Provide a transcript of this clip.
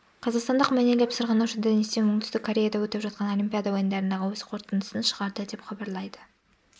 қазақстандық мәнерлеп сырғанаушы денис тен оңтүстік кореяда өтіп жатқан олимпиада ойындарындағы өз қорытындысын шығарды деп хабарлайды